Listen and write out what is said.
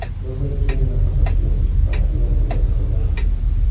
Bunday kiyim nafaqat xunuk, balki noqulay hamdir.